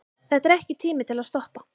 Þetta er ekki tími til að stoppa.